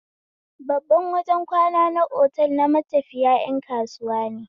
Babban wajen kwana na otel na matafiya ƴan kasuwa ne